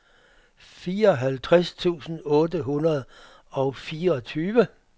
fireoghalvtreds tusind otte hundrede og fireogtyve